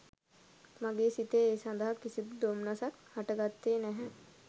මගේ සිතේ ඒ සඳහා කිසිදු දොම්නසක් හට ගත්තේ නැහැ.